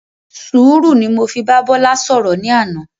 Sùúrù ni mo fi bá Bọ́lá ṣọ̀rọ̀ ní àná.